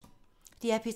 DR P3